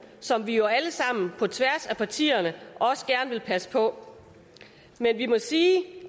som vi jo alle sammen på tværs af partierne også gerne vil passe på men vi må sige